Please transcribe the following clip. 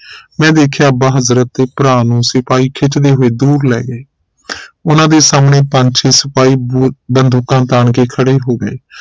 ਮੈਂ ਵੇਖਿਆ ਅੱਬਾ ਹਜ਼ਰਤ ਤੇ ਭਰਾ ਨੂੰ ਸਿਪਾਹੀ ਖਿੱਚਦੇ ਹੋਏ ਦੂਰ ਲੈ ਗਏ ਉਨ੍ਹਾਂ ਦੇ ਸਾਹਮਣੇ ਪੰਜ ਛੇ ਸਿਪਾਹੀ ਬੋਰ ਬੰਦੂਕਾਂ ਤਾਣ ਕੇ ਖੜੇ ਹੋ ਗਏ